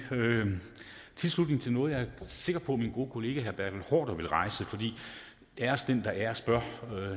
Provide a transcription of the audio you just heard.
tilslutning til noget jeg er sikker på at min gode kollega herre bertel haarder vil rejse æres den der æres bør